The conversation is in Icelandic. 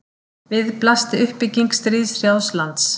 Við blasti uppbygging stríðshrjáðs lands.